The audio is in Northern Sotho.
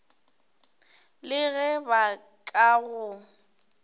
le ge ba ka go